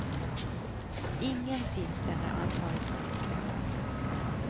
Ingen finns där när ansvaret ska utkrävas.